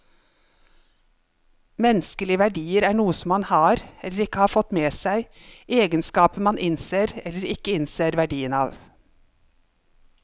Menneskelige verdier er noe som man har, eller ikke har fått med seg, egenskaper man innser eller ikke innser verdien av.